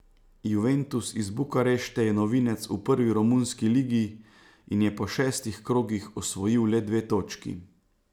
Juventus iz Bukarešte je novinec v prvi romunski ligi in je po šestih krogih osvojil le dve točki.